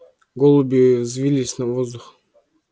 голуби взвились в воздух